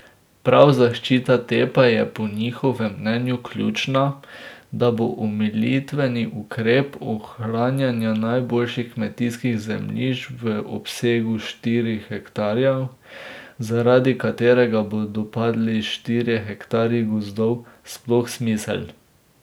Prav zaščita te pa je po njihovem mnenju ključna, da bo omilitveni ukrep ohranjanja najboljših kmetijskih zemljišč v obsegu štirih hektarjev, zaradi katerega bodo padli štirje hektarji gozda, sploh smiseln.